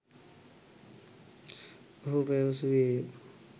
ඔහු පැවසුවේය